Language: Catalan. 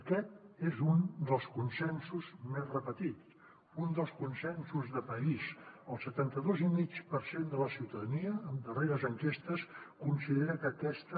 aquest és un dels consensos més repetits un dels consensos de país el setanta dos coma cinc per cent de la ciutadania en darreres enquestes considera que aquesta